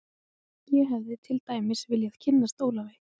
Ég hefði til dæmis viljað kynnast Ólafi